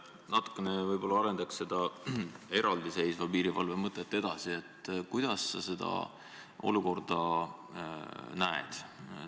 Natukene arendaks seda eraldi seisva piirivalve mõtet edasi – et kuidas sa seda olukorda näed.